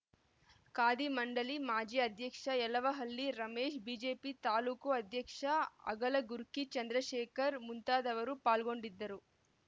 ಖಾದಿ ಮಂಡಳಿ ಮಾಜಿ ಅಧ್ಯಕ್ಷ ಯಲುವಹಳ್ಳಿ ರಮೇಶ್‌ ಬಿಜೆಪಿ ತಾಲೂಕು ಅಧ್ಯಕ್ಷ ಅಗಲಗುರ್ಕಿ ಚಂದ್ರಶೇಖರ್‌ ಮುಂತಾದವರು ಪಾಲ್ಗೊಂಡಿದ್ದರು